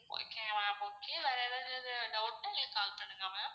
okay ma'am okay வேற எதாவது doubt னா எங்களுக்கு call பண்ணுங்க ma'am.